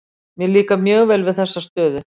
Mér líkar mjög vel við þessa stöðu.